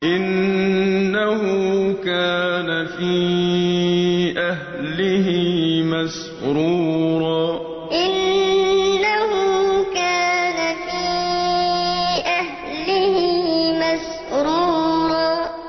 إِنَّهُ كَانَ فِي أَهْلِهِ مَسْرُورًا إِنَّهُ كَانَ فِي أَهْلِهِ مَسْرُورًا